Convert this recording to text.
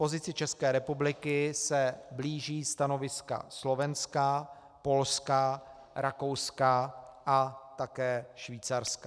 Pozici České republiky se blíží stanoviska Slovenska, Polska, Rakouska a také Švýcarska.